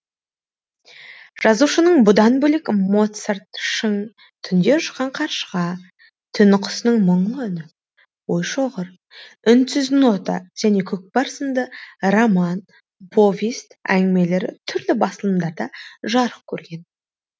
жазушының бұдан бөлек моцарт шың түнде ұшқан қаршыға түн құсының мұңлы үні ойшоғыр үнсіз нота және көкпар сынды роман повесть әңгімелері түрлі басылымдарда жарық көрген